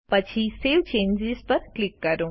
પછી save changes પર click કરો